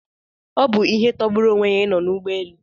Ọ bụ ihe tọgburu onwe ya ị nọ n'ụgbọ elu